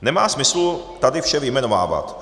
Nemá smyslu tady vše vyjmenovávat.